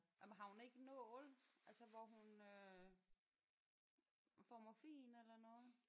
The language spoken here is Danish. Nej men har hun ikke nål altså hvor hun øh får morfin eller noget?